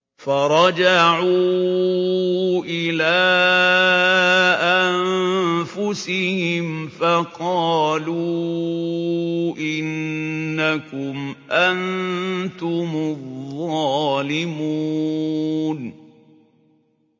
فَرَجَعُوا إِلَىٰ أَنفُسِهِمْ فَقَالُوا إِنَّكُمْ أَنتُمُ الظَّالِمُونَ